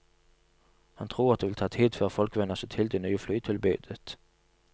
Han tror at det vil ta tid før folk venner seg til det nye flytilbudet.